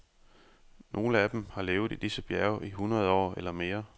Nogle af dem har levet i disse bjerge i hundrede år eller mere.